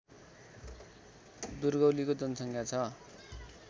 दुर्गौलीको जनसङ्ख्या छ